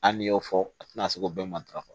Hali n'i y'o fɔ a tɛna se k'o bɛɛ matarafa